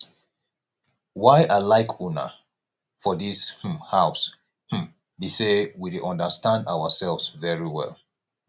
why i like una for dis um house um be say we dey understand ourselves very well